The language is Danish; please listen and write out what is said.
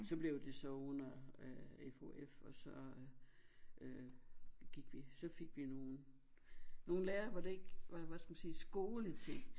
Så blev det så under øh FOF og så øh gik vi så fik vi nogen nogen lærere hvor det ikke var hvad skal man sige skoleting